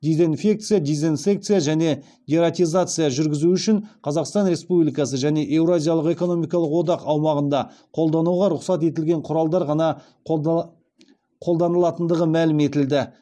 дезинфекция дезинсекция және дератизация жүргізу үшін қазақстан республикасы және еуразиялық экономикалық одақ аумағында қолдануға рұқсат етілген құралдар ғана қолданылатындығы мәлім етілді